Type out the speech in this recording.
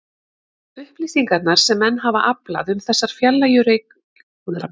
Upplýsingarnar sem menn hafa aflað um þessar fjarlægu reikistjörnur eru yfirleitt rýrar og ófullkomnar.